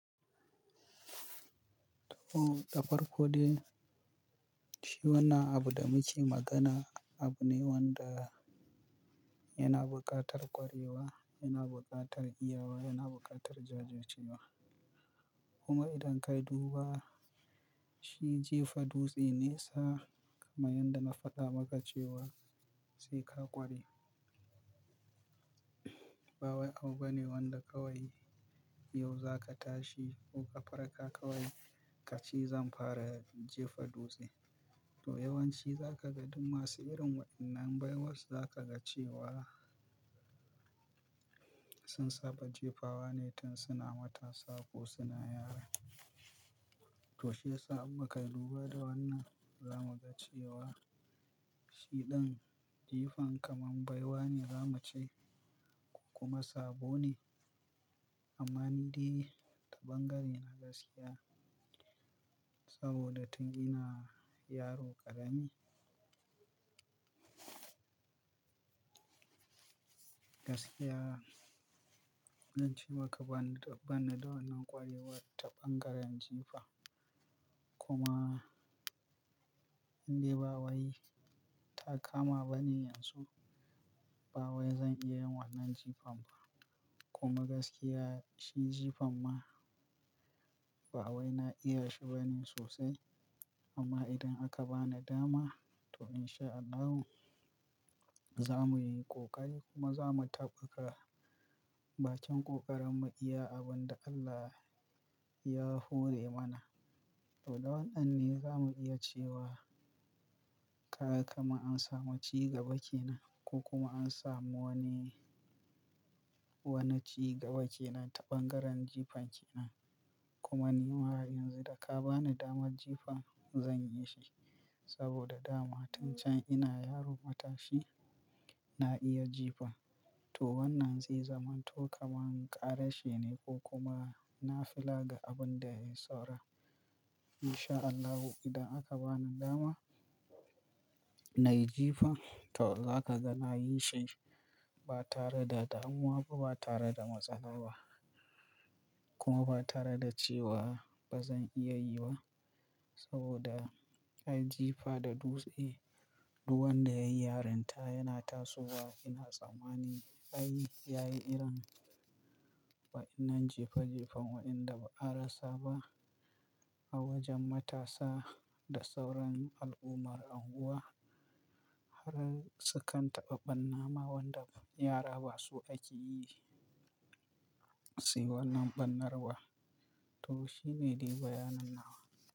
To, da farko ɗai shi wana abu da muke magana abu ne wanda yana buƙatar ƙwarewa, yana buƙatar iyawa, yana buƙatar jajircewa. Kuma idan kayi duba shi jefa dutse ne sa, kamar yadda na faɗa maka cewa sai ka ƙware. Ba wai abu bane wanda kawai yau za ka tashi ko kafarka ka kai ka ce zan fara jefa dutse. To yawanci za ka ga duk masu irin waɗannan baiwar za ka ga cewa sun saba jefawa ne tun suna matasa ko suna yara. To shi ya sa a bakayi duba da wannan, za mu ga cewa shi ɗin jifan kaman baiwa ne za mu ce ko kuma sabo ne amma ni dai ta ɓangaren na gaskiya saboda tun ina yaro ƙarami. Gaskiya, zan ce maka ba ni, ba ni da wannan ƙwarewar ta ɓangaren jifa kuma ni bawai ta kama ba ne yanzu. Ba wai zan iya yin wannan jifan ba kuma gaskiya shi jifan ma ba wai na iya shi ba ne sosai. Amma idan aka ba ni dama to in sha Allahu za mu yi ƙoƙari kuma za mu taɓa ka bakin ƙoƙarin mu iya abun da Allah ya hore mana. To da wannan ne za mu iya cewa kaga kama an samu cigaba ke nan ko kuma an samu wani, wani cigaba ke nan ta ɓangaren jifan ke nan. Kuma ni ma yanzu da ka ba ni damar jifan zan yi shi saboda dama tun can ina yaro matashi na iya jifa. To wannan zai zama to kamar ƙarashe ne ko kuma na fila ga abun da ya yi saura. In sha Allahu idan aka ba ni dama na yi jifan to za ka ga na yi shi ba tare da damuwa ba, ba tare da matsala ba kuma ba tare da cewa ba zan iya yiba saboda ai jifa da dutse, duwan da yayi yarinta yana tasowa. Ina tsammani ai yayi irin waɗannan jefa jefan waɗanda ba a rasa ba a wajen matasa da sauran al'ummar unguwa har su kan taɓa ɓannama waɗan yara ba so aƙe yi. Zai wannan ɓannarwa to shi ne dai bayanin nawa.